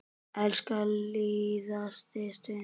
Elska líðandi stund.